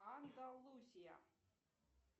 андалусия